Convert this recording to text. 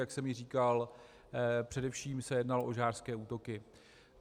Jak jsem již říkal, především se jednalo o žhářské útoky.